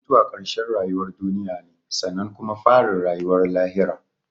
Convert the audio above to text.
Mutuwa karshen rayuwar duniya ne sannan kuma farin rayuwar lahira